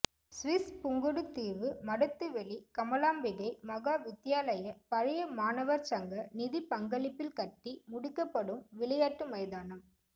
சுவிஸ்பு ங்குடுதீவு மடத்துவெளி கமலாம்பிகை மகா வித்தியா லய பழைய மாணவர் சங்க நிதிப்பங்களிப்பில் கட்டி முடிக்கப்படும் விளையாட்டு மைதானம்